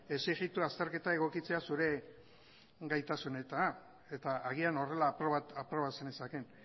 exigitu azterketa egokitzea zure gaitasunetara eta agian horrela aproba zenezakeen